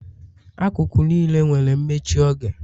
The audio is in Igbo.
Akụkụ niile nwere mmechi oge